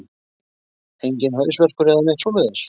Enginn hausverkur eða neitt svoleiðis?